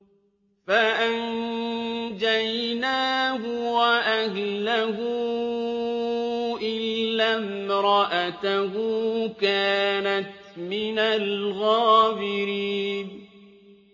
فَأَنجَيْنَاهُ وَأَهْلَهُ إِلَّا امْرَأَتَهُ كَانَتْ مِنَ الْغَابِرِينَ